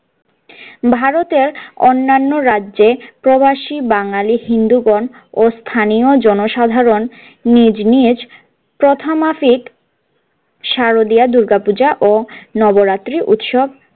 ভারতের অন্যান্য রাজ্য প্রবাসী বাঙালী হিন্দু গন ও স্থানীয় জনসাধারন নিজ নিজ প্রথা মাফিক শারদীয়া দূর্গাপূজা ও নবরাত্রি উৎসব।